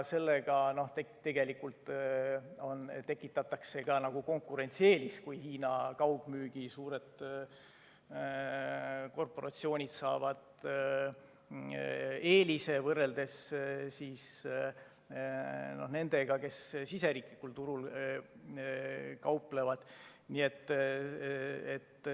Sellega tekitatakse ka konkurentsieelis, suured Hiina kaugmüügikorporatsioonid saavad eelise võrreldes nendega, kes siseriiklikul turul kauplevad.